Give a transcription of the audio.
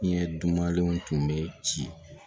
Ɲɛ dumanlenw tun bɛ ci